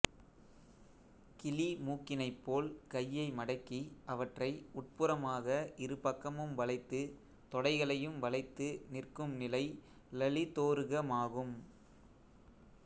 கிளி மூக்கினைப்போல் கையை மடக்கி அவற்றை உட்புறமாக இருபக்கமும் வளைத்து தொடைகளையும் வளைத்து நிற்கும் நிலை லலிதோருகமாகும்